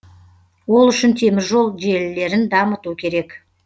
ол үшін теміржол желілерін дамыту керек